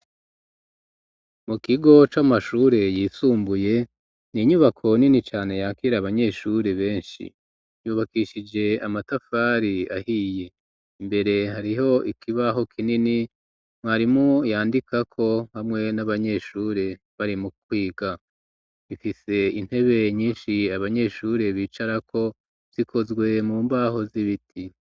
mu kigo c'amashure yisumbuye ni inyubako nini cane yakire abanyeshuri benshi yubakishije amatafari ahiye imbere hariho ikibaho kinini mwarimu yandika ko hamwe n'abanyeshure bari mu kwiga ifise intebe nyinshi abanyeshuri bicara ko zikozwe mu mbaho z'ibiti.